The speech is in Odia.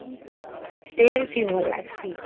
Train ଥି ଭଲ ଲାଗସି